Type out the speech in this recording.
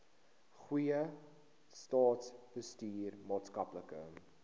goeie staatsbestuur maatskaplike